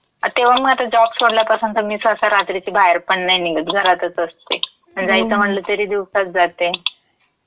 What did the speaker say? तेव्हा म आता जॉब सोडल्यापासून तं मी सहसा रात्रीची बाहेरपण नयी निघत, घरातच असते. आणि जायचं म्हणलं तरी दिवसाच जाते.